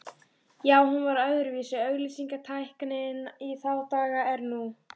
Já, hún var öðruvísi auglýsingatæknin í þá daga en nú.